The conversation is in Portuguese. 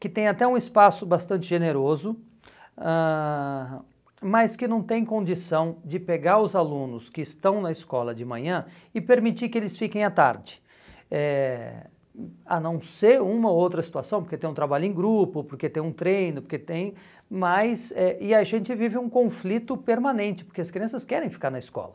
que tem até um espaço bastante generoso, ãh mas que não tem condição de pegar os alunos que estão na escola de manhã e permitir que eles fiquem à tarde, eh hum a não ser uma ou outra situação, porque tem um trabalho em grupo, porque tem um treino, porque tem mas eh e a gente vive um conflito permanente, porque as crianças querem ficar na escola.